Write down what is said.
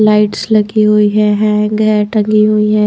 Lights लगी हुई है हैंग है टंगी हुई है।